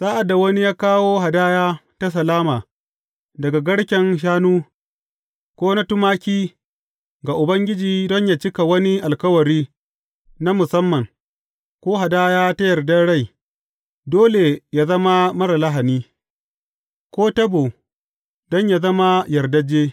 Sa’ad da wani ya kawo hadaya ta salama daga garken shanu, ko na tumaki, ga Ubangiji don yă cika wani alkawari na musamman, ko hadaya ta yardar rai, dole yă zama marar lahani, ko tabo, don yă zama yardajje.